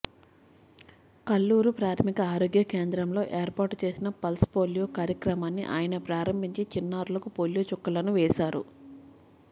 కల్లూరు ప్రాథమిక ఆరోగ్యకేంద్రంలో ఏర్పాటు చేసిన పల్స్ పోలియో కార్యక్రమాన్ని ఆయన ప్రారంభించి చిన్నారులకు పోలియో చుక్కలను వేశారు